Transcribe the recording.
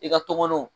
I ka tɔmɔnɔw